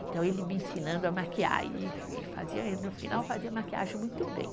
Então ele me ensinando a maquiar e e fazia, e no final fazia maquiagem muito bem.